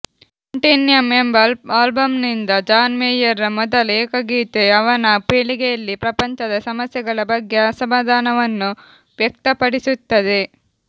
Continuum ಎಂಬ ಆಲ್ಬಂನಿಂದ John ಮೇಯರ್ರ ಮೊದಲ ಏಕಗೀತೆ ಅವನ ಪೀಳಿಗೆಯಲ್ಲಿ ಪ್ರಪಂಚದ ಸಮಸ್ಯೆಗಳ ಬಗ್ಗೆ ಅಸಮಾಧಾನವನ್ನು ವ್ಯಕ್ತಪಡಿಸುತ್ತದೆ